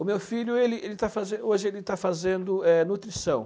O meu filho, ele ele está fazen hoje ele está fazendo é nutrição.